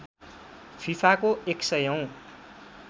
फिफाको १०० औँ